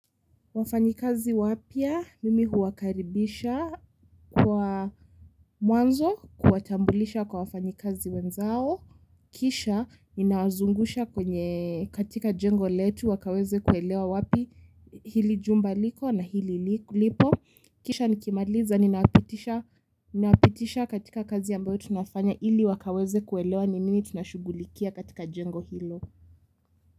Wafanyikazi wapya mimi huwakaribisha kwa mwanzo kuwatambulisha kwa wafanyikazi wenzao. Kisha ninawazungusha kwenye katika jengo letu wakaweze kuelewa wapi hili jumba liko na hili lipo. Kisha nikimaliza ninapitisha katika kazi ambayo tunafanya ili wakaweze kuelewa ni nini tunashughulikia katika jengo hilo.